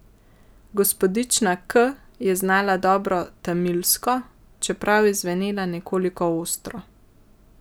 Gospodična K je znala dobro tamilsko, čeprav je zvenela nekoliko ostro.